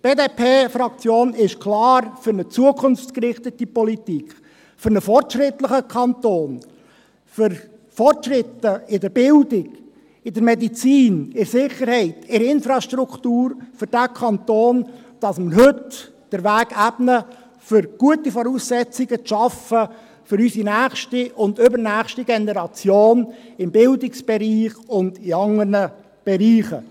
Die BDP-Fraktion ist klar für eine zukunftsgerichtete Politik, für einen fortschrittlichen Kanton, für Fortschritte in der Bildung, in der Medizin, in der Sicherheit, in der Infrastruktur für diesen Kanton, indem wir heute den Weg ebnen, um für unsere nächste und übernächste Generation gute Voraussetzungen im Bildungsbereich und anderen Bereichen zu schaffen.